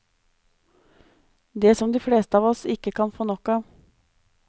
Det som de fleste av oss ikke kan få nok av.